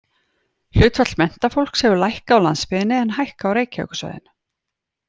Hlutfall menntafólks hefur lækkað á landsbyggðinni en hækkað á Reykjavíkursvæðinu.